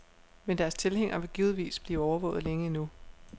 Men deres tilhængere vil givetvis blive overvåget længe endnu.